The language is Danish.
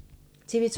TV 2